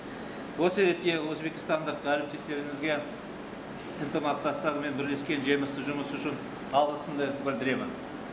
осы ретте өзбекстандық әріптестерімізге ынтымақтастар пен бірлескен жемісті жұмысы үшін алғысымды білдіремін